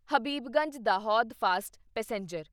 Habibganj Dahod fast passenger